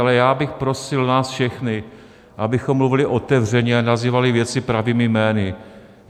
Ale já bych prosil nás všechny, abychom mluvili otevřeně a nazývali věci pravými jmény.